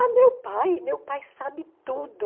Ah, meu pai, meu pai sabe tudo.